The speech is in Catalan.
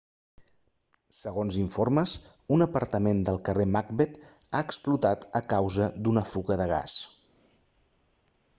segons informes un apartament del carrer macbeth ha explotat a causa d'una fuga de gas